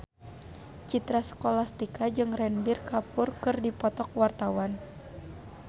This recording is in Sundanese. Citra Scholastika jeung Ranbir Kapoor keur dipoto ku wartawan